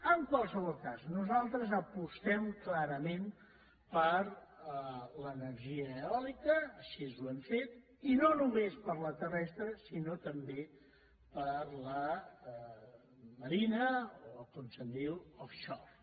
en qualsevol cas nosaltres apostem clarament per l’energia eòlica així ho hem fet i no només per la terrestre sinó també per la marina o com se’n diu offshore